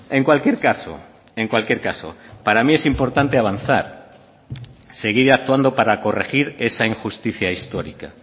en cualquier caso en cualquier caso para mí es importante avanzar seguir actuando para corregir esa injusticia histórica